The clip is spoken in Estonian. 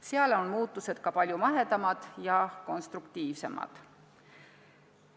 Seal on muudatused palju "mahedamad" ja samas konstruktiivsemad.